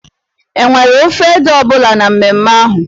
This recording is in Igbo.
E nwere ofe ede ọ bụla na mmemme ahụ?